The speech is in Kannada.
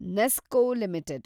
NESCO limited